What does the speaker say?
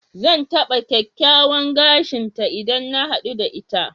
Zan taɓa kyakkyawan gashin ta idan na haɗu da ita.